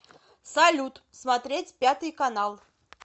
салют смотреть пятый канал